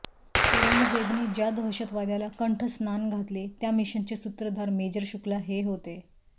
औरंगजेबने ज्या दहशतवाद्याला कंठस्नान घातले त्या मिशनचे सूत्रधार मेजर शुक्ला हे होते